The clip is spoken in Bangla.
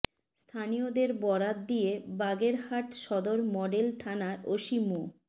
স্থানীয়দের বরাত দিয়ে বাগেরহাট সদর মডেল থানার ওসি মো